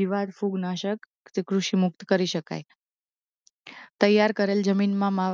જીવાત ફૂગનાશક ક્રુષિમુક્ત કરી શકાય તૈયાર કરેલ જમીનમાં મા